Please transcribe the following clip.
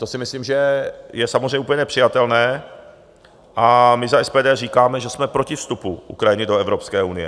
To si myslím, že je samozřejmě úplně nepřijatelné, a my za SPD říkáme, že jsme proti vstupu Ukrajiny do Evropské unie.